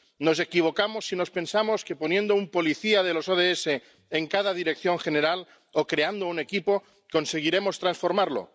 Nos equivocamos si pensamos que poniendo un policía de los ODS en cada dirección general o creando un equipo conseguiremos transformarlo.